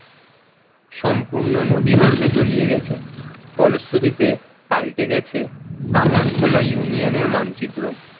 সম্পূর্ণ নদীগর্ভে তলিয়ে গেছে ফলশ্রুতিতে পাল্টে গেছে কামার খোলা union র মানচিত্র।